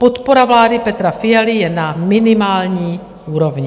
Podpora vlády Petra Fialy je na minimální úrovni.